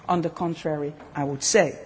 On the contrary, I would